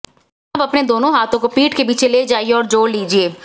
अब अपने दोंनो हाथों को पीठ के पीछे ले जाइये और जोड़ लीजिये